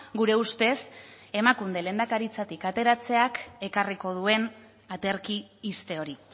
gure ustez emakunde lehendakaritzatik ateratzeak ekarriko duen aterki ixte hori